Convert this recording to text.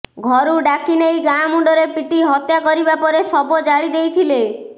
ଘରୁ ଡାକି ନେଇ ଗାଁ ମୁଣ୍ଡରେ ପିଟି ହତ୍ୟା କରିବା ପରେ ଶବ ଜାଳି ଦେଇଥିଲେ